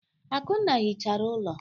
Akunna hichara ụlọ.